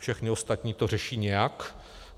Všechny ostatní to řeší nějak.